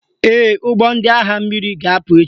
Ee, ụgbọ ndị agha mmiri ga-apụ echi